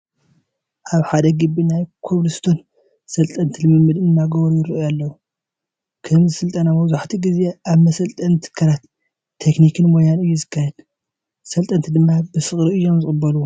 ኣብ ሓደ ግቢ ናይ ኮብል ስቶን ሰልጠንቲ ልምምድ እናገበሩ ይርአዩ ኣለዉ፡፡ ከምዚ ስልጠና መብዛህትኡ ግዜ ኣብ መሰልጠኒ ትካላት ቴክኒክን ሞያን እዩ ዝካየድ፡፡ ሰልጠንቲ ድማ ብፍቕሪ እዮም ዝቕበልዎ፡፡